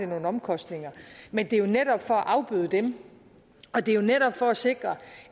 nogle omkostninger men det er jo netop for at afbøde dem og det er jo netop for at sikre